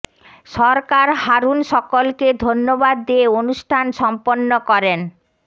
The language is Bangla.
সরকার হারুন সকলকে ধন্যবাদ দিয়ে অনুষ্ঠান সম্পন্ন করেন